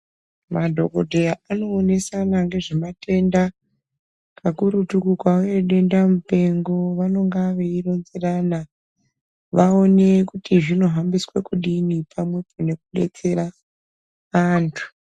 Madhokodheya anoonesana ngezvematenda kakurutu kukauye denda mupengo vanonga vaironzerana vaone kuti zvinohambiswa kudini pamwepo nekubetsera antu.